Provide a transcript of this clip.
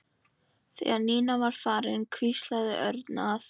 Þegar Nína var farin hvíslaði Örn að